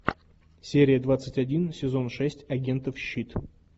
серия двадцать один сезон шесть агентов щит